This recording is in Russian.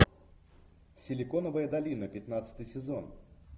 силиконовая долина пятнадцатый сезон